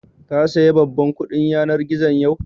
Ka saya babban kuɗin yanar gizon yau?